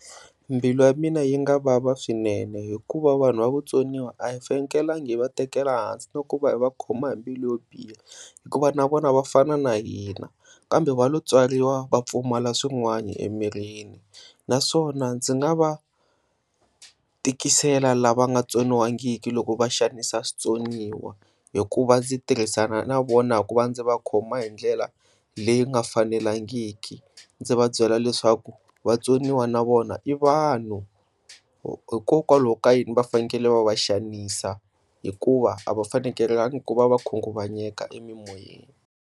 Mbilu ya mina yi nga vava swinene hikuva vanhu va vatsoniwa a hi fanelangi hi va tekela ehansi na ku va hi va khoma hi mbilu yo biha hikuva na vona va fana na hina kambe va lo tswariwa va pfumala swin'wana emirini. Naswona ndzi nga va tikisela lava nga tsoniwangiki loko va xanisa switsoniwa hikuva ndzi tirhisana na vona ku va ndzi va khoma hi ndlela leyi nga fanelangiki, ndzi va byela leswaku vatsoniwa na vona i vanhu hikokwalaho ka yini va fanele va va xanisa hikuva ava fanekelenga ku va va khunguvanyeka emimoyeni.